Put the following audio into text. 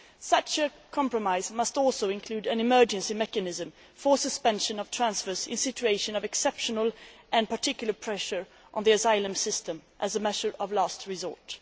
Such a compromise must also include an emergency mechanism for suspension of transfers in situations of exceptional and particular pressure on the asylum system as a matter of last resort.